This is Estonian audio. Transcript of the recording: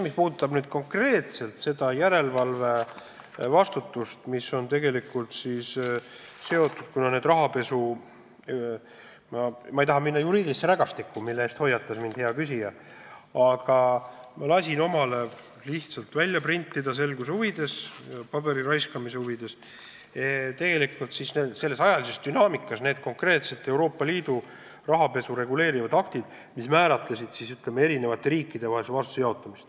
Mis puudutab konkreetselt järelevalvevastutust, mis on seotud rahapesuga, siis ma ei taha minna juriidilisse rägastikku, mille eest hea küsija mind hoiatas, aga ma lasin omale paberit raisates lihtsalt selguse huvides välja printida ajalises järjestuses konkreetselt rahapesu reguleerivad euroliidu õigusaktid, mis määratlevad ka eri riikide vahel vastutuse jaotamise.